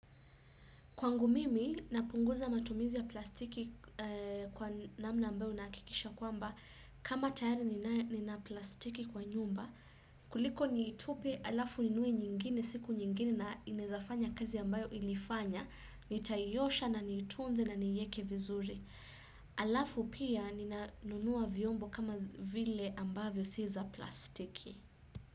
Kwangu mimi, napunguza matumizi ya plastiki kwa namna ambayo nakikisha kwamba kama tayara nina plastiki kwa nyumba, kuliko nitupe alafu ninue nyingine siku nyingine na inezafanya kazi ambayo ilifanya, nitaiosha na nitunze na niieke vizuri. Alafu pia ninanunua vyombo kama vile ambavyo si za plastiki.